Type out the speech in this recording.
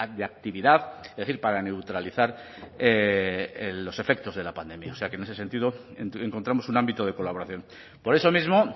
de actividad es decir para neutralizar los efectos de la pandemia o sea que en ese sentido encontramos un ámbito de colaboración por eso mismo